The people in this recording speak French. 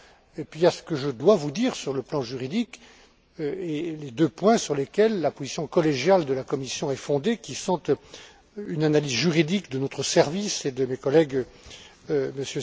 Et puis il y a ce que je dois vous dire sur le plan juridique et les deux points sur lesquels la position collégiale de la Commission est fondée, qui sont une analyse juridique de notre service et de mes collègues, M.